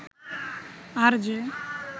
RJ